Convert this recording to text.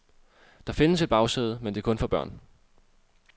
Der findes et bagsæde, men det er kun for børn.